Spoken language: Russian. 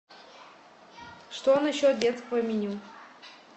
что насчет детского меню